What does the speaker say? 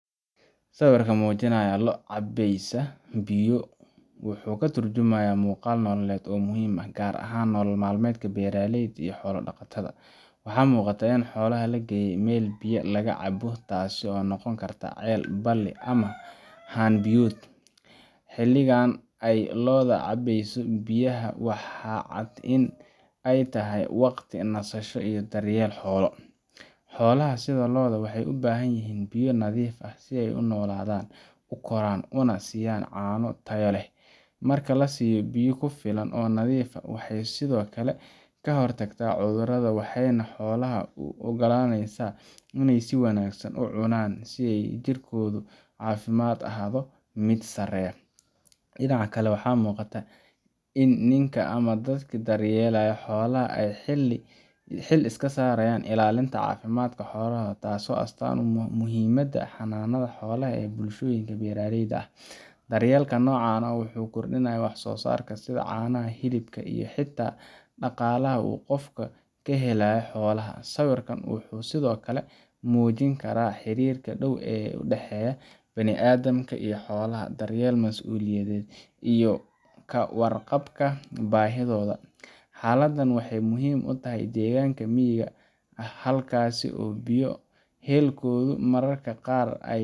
Sawirka muujinaya lo’ cabbaysa biyo wuxuu ka tarjumayaa muuqaal nololeed oo muhiim ah, gaar ahaan nolol maalmeedka beeraleyda iyo xoolo-dhaqatada. Waxaa muuqata in xoolaha la geeyay meel biyaha laga cabo taasoo noqon karta ceel, balli ama haan biyood. Xilligan ay lo’du cabbayso biyaha, waxaa cad in ay tahay waqti nasasho iyo daryeel xoolo. Xoolaha, sida lo’da, waxay u baahan yihiin biyo nadiif ah si ay u noolaadaan, u koraan, una siiyaan caano tayo leh. Marka la siiyo biyo ku filan oo nadiif ah, waxay sidoo kale ka hortagtaa cudurrada, waxayna xoolaha u oggolaaneysaa inay si wanaagsan u cunaan iyo in jiritaankooda caafimaad ahaado mid sareeya. Dhinaca kale, waxaa muuqata in ninka ama dadkii daryeelaya xoolaha ay xil iska saarayaan ilaalinta caafimaadka xoolaha, taasoo astaan u ah muhiimadda xanaanada xoolaha ee bulshooyinka beeraleyda ah. Daryeelka noocan ah wuxuu kordhiyaa wax-soo-saarka, sida caanaha, hilibka, iyo xitaa dhaqaalaha uu qofka ka helayo xoolaha. Sawirka wuxuu sidoo kale muujin karaa xiriirka dhow ee u dhexeeya bini’aadamka iyo xoolaha daryeel, mas’uuliyad, iyo ka warqabka baahiyahooda. Xaaladdan waxay muhiim u tahay deegaanka miyiga ah, halkaas oo biyo helkoodu mararka qaar ay.